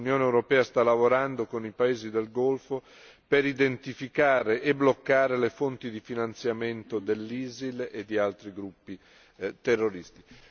L'Unione europea sta lavorando con i paesi del Golfo per identificare e bloccare le fonti di finanziamento dell'ISIL e di altri gruppi terroristici.